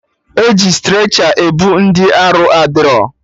E ji strecha ebu ndị arụ adịrọ